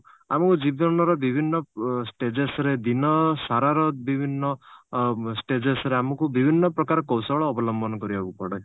ଆମକୁ ଜୀବନର ବିଭିନ୍ନ ଅ stages ରେ ଦିନ ସାରାର ବିଭିନ୍ନ ଅ stages ଆମକୁ ବିଭିନ୍ନ ପ୍ରକାର କୌଶଳ ଅବଲମ୍ବନ କରିବାକୁ ପଡେ